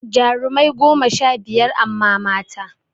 Jarumai goma sha biyar amma mata